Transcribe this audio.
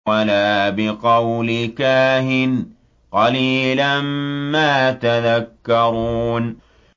وَلَا بِقَوْلِ كَاهِنٍ ۚ قَلِيلًا مَّا تَذَكَّرُونَ